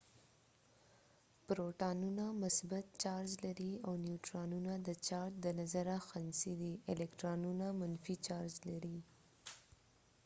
پروټونونه مثبت چارج لري او نیوټرنونه د چارج د نظره خنثی دي الکترونونه منفی چارج لري